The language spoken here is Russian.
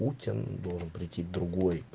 путин должен прийти к другой